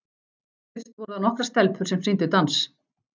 Fyrst voru það nokkrar stelpur sem sýndu dans.